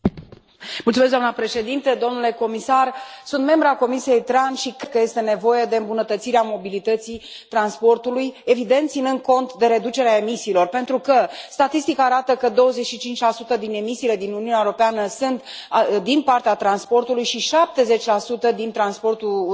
Doamna președintă, domnule comisar, sunt membră a Comisiei TRAN și cred că este nevoie de îmbunătățirea mobilității transportului, evident, ținând cont de reducerea emisiilor, pentru că statistica arată că 25 din emisiile din Uniunea Europeană sunt din partea transportului și 70 din transportul rutier.